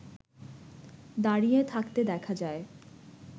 দাঁড়িয়ে থাকতে দেখা যায়